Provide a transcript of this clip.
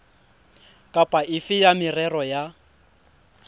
kapa efe ya merero ya